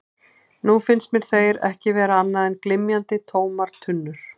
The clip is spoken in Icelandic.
Nú fannst mér þeir ekki vera annað en glymjandi, tómar tunnur.